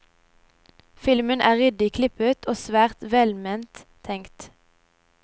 Filmen er ryddig klippet og svært velment tenkt.